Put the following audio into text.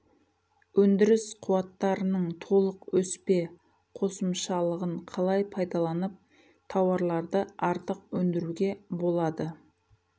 өндіріс қуаттарының толық өспе қосымшалығын қалай пайдаланып тауарларды артық өндіруге болады